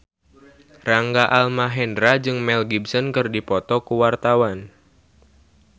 Rangga Almahendra jeung Mel Gibson keur dipoto ku wartawan